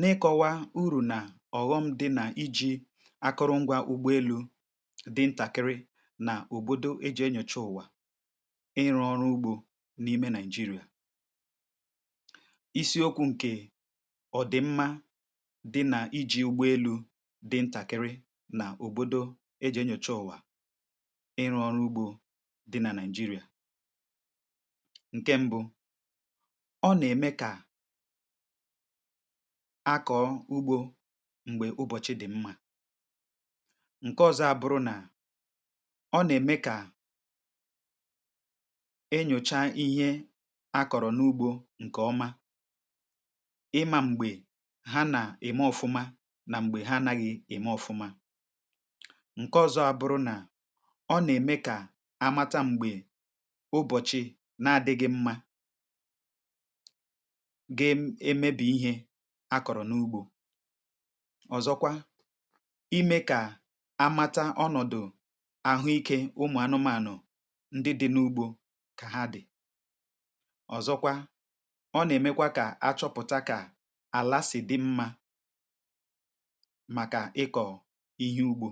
n’ịkọwa urù nà ọ̀ghọm dị nà iji̇ akụrụngwȧ ụgbọelu̇ dị ntàkịrị nà òbòdo e jì enyòchoo ụ̀wà ịrụ̇ ọrụ ugbȯ n’ime nigeria isiokwu̇ ǹkè ọ̀dị̀mmȧ dị nà iji̇ ụgbọelu̇ dị ntàkịrị nà òbòdo e jì enyòchoo ụ̀wà ịrụ̇ ọrụ ugbȯ dị nà nigeria ǹke m̀bụ̀, ọ na-eme ka akọ̀ọ ugbȯ m̀gbè ụbọ̀chị̀ dị̀ mmȧ ǹke ọzọ abụrụ nà ọ nà-ème kà enyòcha ihe a kọ̀rọ̀ n’ugbȯ ǹkè ọma ịma m̀gbè ha nà-ème ọfụma nà m̀gbè ha naghị̇ ème ọfụma ǹke ọzọ abụrụ nà ọ nà-ème kà amata m̀gbè ụbọ̀chị̀ na-adịghị̇ mmȧ ga emebi ihe akọ̀rọ̀ n’ugbȯ. ọ̀zọkwa ime kà amata ọnọ̀dụ̀ àhụikė ụmụ̀ anụmanụ̀ ndi di n’ugbȯ kà ha di̇ ọ̀zọkwa ọ nà-èmekwa kà achọpụ̀ta kà àlàsì di mmȧ màkà ịkọ̀ ihe ugbȯ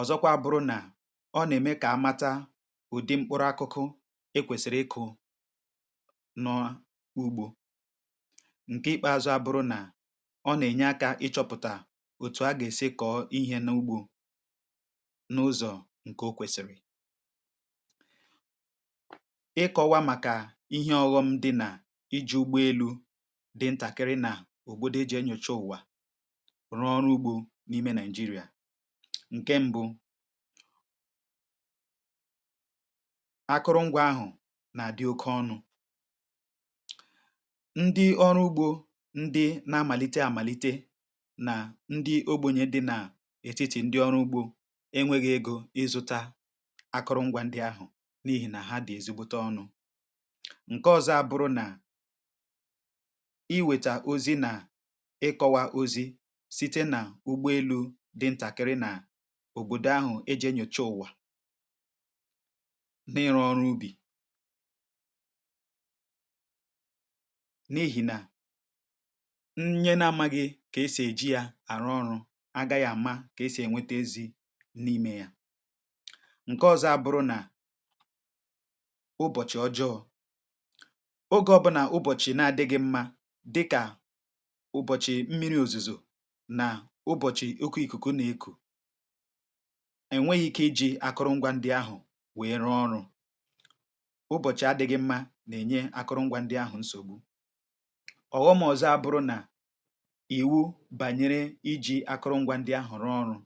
ọ̀zọkwa bụrụ nà ọ nà-ème kà amata ụ̀dị mkpụrụ akụkụ i kwèsìrì ịkụ̇ n'ugbo. ǹkè ikpeazụ̇ abụrụ nà ọ nà-ènye akȧ ịchọ̇pụ̀tà òtù a gà-èsi kọ̀ọ ihė n’ugbȯ n’ụzọ̀ ǹkè o kwèsìrì ịkọ̇wa màkà ihe ọ̇ghọ̇ṁ dị nà iji̇ ụgbọelu̇ dị ntàkịrị nà òbòdo e jì enyocha ụ̀wa rụọ ọrụ ugbȯ n’ime naị̀jịrị̀à ǹke mbụ akụrụ ngwȧ ahụ̀ nà-àdị oke ọnụ̇ ndị ọrụ ugbo ndị na-amàlite amàlite nà ndị ogbunye dị n’ètitì ndị ọrụ ugbo enwėghi̇ ego ịzụ̇ta akụrụngwȧ ndị ahụ̀ n’ihì nà ha dị̀ ezigbute ọnụ̇ ǹke ọzọ abụrụ nà iwèta ozi nà ịkọ̇wa ozi̇ site nà ụgbọelu̇ dị ntàkịrị nà òbòdò ahụ̀ eji enyocha ụ̀wà n’ịrụ̇ ọrụ ubì n’ihìnà nnye na-amȧghị̇ kà e sì èji yȧ àrụ ọrụ̇ agȧghị̇ àma kà e sì ènwete ezi n’imė yȧ ǹke ọzọ abụrụ nà ụbọ̀chị̀ ọjọọ̇ ogė ọbụnà ụbọ̀chị̀ na-adịghị̇ mmȧ dịkà ụbọ̀chị̀ mmiri òzùzò nà ụbọ̀chị̀ oku ìkùkù na-ekù enweghi ike ijì akụrụngwa ndị ahụ̀ wèere ọrụ̇ ụbọ̀chị̀ adị̇ghị̇ mmȧ nà-ènye akụrụngwa ndị ahụ̀ nsògbu ọ̀ghọ m ọ̀zọ abụrụ nà ìwu bànyere iji̇ akụrụngwȧ ndị ahọ̀rọ ọrụ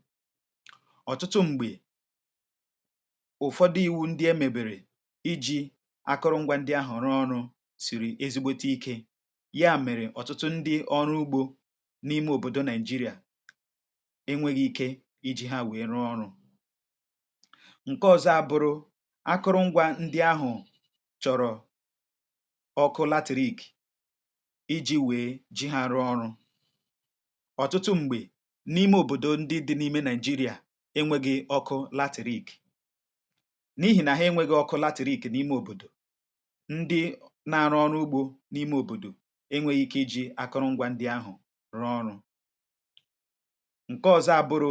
ọ̀tụtụ m̀gbè ụ̀fọdụ i̇wu̇ ndị e mèbèrè iji̇ akụrụngwȧ ndị ahọ̀rọ ọrụ sìrì ezigbote ikė ya mèrè ọ̀tụtụ ndị ọrụ ugbȯ n’ime òbòdo nigeria enwėghị̇ ike iji̇ ha wèe rụọ ọrụ̇ ṅ̀ke ọ̇zọ̇ abụrụ akụrụngwȧ ndị ahụ̀ chọ̀rọ̀ iji̇ wèe ji ha rụọ ọrụ ọtụtụ m̀gbè n’ime òbòdo ndị dị n’ime nigeria enwėghi̇ ọkụ latirik n’ihì nà ha enwėghi̇ ọkụ latirik n’ime òbòdò ndị na-arụ ọrụ ugbȯ n’ime òbòdò enwėghi̇ ike iji̇ akụrụ̇ngwȧ ndị ahụ̀ rụọ ọrụ ṅ̀ke ọzọ abụrụ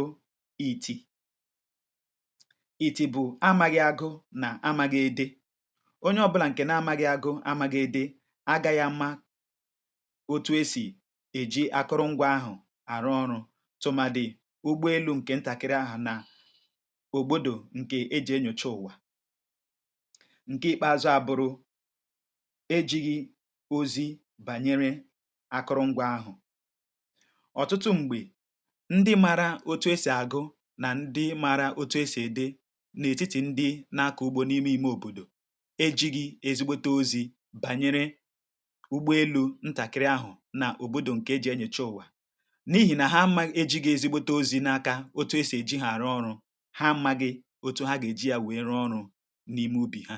iti̇ iti̇ bụ̀ amaghị agụ nà amaghị ede onye ọbụlà nkè nà amaghị agụ amaghị ede otu esì èji akụrụngwȧ ahụ̀ àrụ ọrụ̇ tụma dị̀ ụgbọelu̇ ǹkè ntàkiri ahụ̀ nà òbòdò ǹkè ejì enyòcha ụ̀wà ǹke ìkpeazụ àbụrụ̇ ejighì ozi̇ bànyere akụrụngwȧ ahụ̀ ọ̀tụtụ m̀gbè ndị maara otu esì àgụ nà ndị maara otu esì ède n’ètitì ndị nà-akọ̀ ugbȯ n’ime ìme òbòdò ejighì ezigbote ozi̇ bànyere nà òbòdò ǹkè eji̇ enye chọọ ụ̀wa n’ihì nà ha ma e ji̇ gà ezigbote ozi̇ n’aka otu esì e ji̇ ghàra ọrụ̇ ha maghị otu ha gà èji yȧ wèe ruọ ọrụ̇ n’ime ubì ha